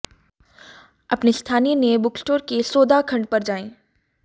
अपने स्थानीय नए बुकस्टोर के सौदा खंड पर जाएं